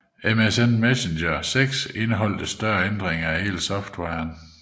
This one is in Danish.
MSN Messenger 6 indeholdt større ændringer af hele softwaren